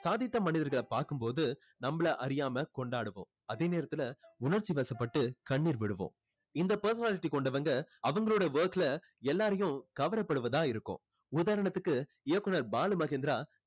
சாதித்த மனிதர்களை பார்க்கும் போது நம்மளை அறியாம கொண்டாடுவோம் அதே நேரத்துல உணர்ச்சிவசப்பட்டு கண்ணீர் விடுவோம் இந்த personality கொண்டவங்க அவங்களோட work ல எல்லாரையும் கவரப்படுவதா இருக்கும் உதாரணத்துக்கு இயக்குனர் பாலு மஹேந்திரா